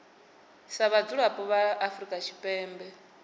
sa vhadzulapo vha afrika tshipembe